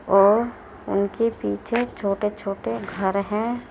और उनके पीछे छोटे छोटे घर हैं।